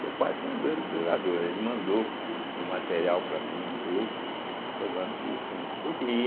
Seu pai foi um grande jogador, ele mandou o material para mim e tudo, entende, provando que sim.